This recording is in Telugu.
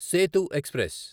సేతు ఎక్స్ప్రెస్